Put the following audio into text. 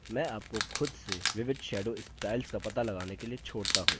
मैं आपको खुद से विविध shadow styles का पता लगाने के लिए छोड़ता हूँ